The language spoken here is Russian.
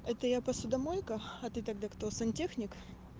это я посудомойка а ты тогда кто сантехник